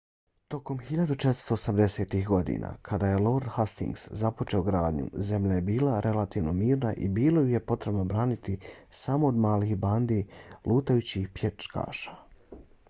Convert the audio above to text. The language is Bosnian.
tokom 1480-ih godina kada je lord hastings započeo gradnju zemlja je bila relativno mirna i bilo ju je potrebno braniti samo od malih bandi lutajućih pljačkaša